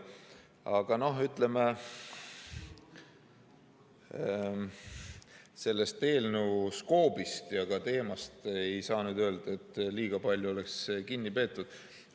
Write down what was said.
Aga no, ütleme, ei saa nüüd öelda, et sellest eelnõu skoobist ja ka teemast liiga palju oleks kinni peetud.